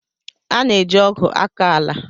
A na eji ogwu akọ ala.